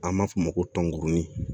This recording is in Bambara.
An b'a fɔ o ma ko tɔnguruni